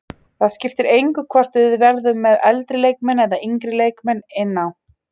Það skipti engu hvort við vorum með eldri leikmenn eða yngri leikmenn inn á.